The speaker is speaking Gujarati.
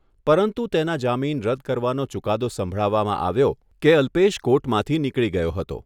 પરંતુ તેના જામીન રદ કરવાનો ચુકાદો સંભળાવવામાં આવ્યો કે અલ્પેશ કોર્ટમાંથી નીકળી ગયો હતો.